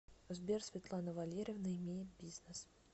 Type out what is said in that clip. сбер светлана валерьевна имеет бизнес